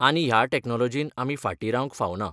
आनी ह्या टॅक्नोलोजीन आमी फाटी रावंक फावना.